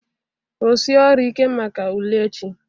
rụsie ọrụ ike maka ule echi